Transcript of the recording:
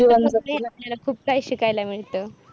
आपल्याला खूप काही शिकायला मिळत.